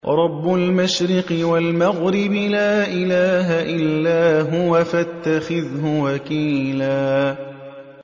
رَّبُّ الْمَشْرِقِ وَالْمَغْرِبِ لَا إِلَٰهَ إِلَّا هُوَ فَاتَّخِذْهُ وَكِيلًا